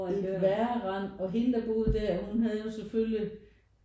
Et værre rend og hende der boede der hun havde jo selvfølgelig